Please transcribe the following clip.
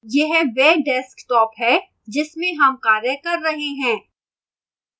यह वह desktop है जिसमें हम कार्य कर रहे हैं